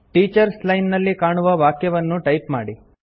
teachers line ನಲ್ಲಿ ಕಾಣುವ ವಾಕ್ಯವನ್ನು ಟೈಪ್ ಮಾಡಿ